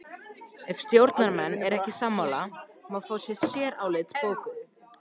Ef stjórnarmenn eru ekki sammála má fá sérálit bókuð.